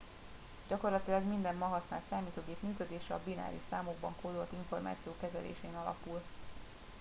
gyakorlatilag minden ma használt számítógép működése a bináris számokban kódolt információ kezelésén alapul